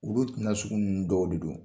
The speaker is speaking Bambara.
Olu tina sugu nunnu dɔw de don.